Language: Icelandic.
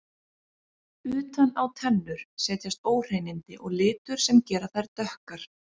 Utan á tennur setjast óhreinindi og litur sem gera þær dökkar.